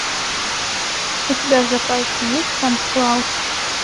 у тебя в запасе есть санта клаус